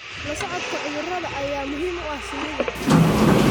La socodka cudurrada ayaa muhiim u ah shinnida.